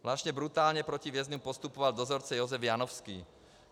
Zvláště brutálně proti vězňům postupoval dozorce Josef Janovský.